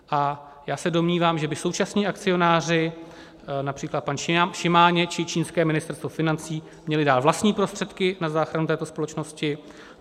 A já se domnívám, že by současní akcionáři, například pan Šimáně či čínské ministerstvo financí měli dát vlastní prostředky na záchranu této společnosti.